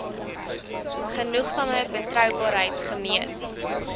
genoegsame betroubaarheid gemeet